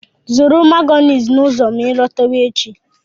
Zụrụ Mayonezi n'ụzọ gị azụ echi!